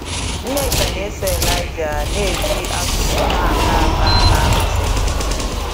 Nneka na eso Eliaja na eji asụsụ na -ata ata ná ntị